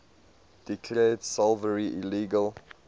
declared slavery illegal